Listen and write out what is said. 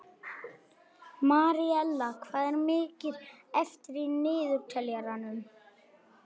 Maríella, hvað er mikið eftir af niðurteljaranum?